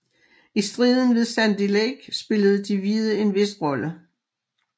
I striden ved Sandy Lake spillede de hvide en vis rolle